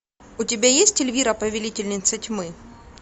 у тебя есть эльвира повелительница тьмы